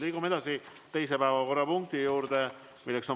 Liigume teise päevakorrapunkti juurde.